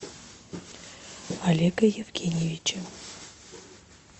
олега евгеньевича